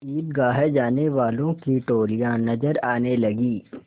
ईदगाह जाने वालों की टोलियाँ नजर आने लगीं